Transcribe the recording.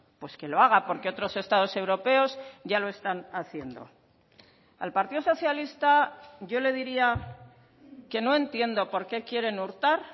pues que lo haga porque otros estados europeos ya lo están haciendo al partido socialista yo le diría que no entiendo porqué quieren hurtar